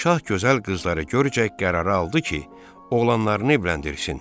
Şah gözəl qızları görcək qərarə aldı ki, oğlanlarını evləndirsin.